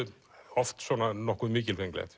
oft svona nokkuð mikilfenglegt